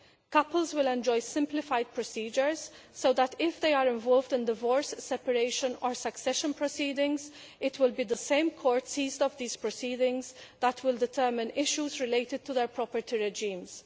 Couples will enjoy simplified procedures so that if they are involved in divorce, separation or succession proceedings, it will be the same court ruling on these proceedings that will determine issues related to their property regimes.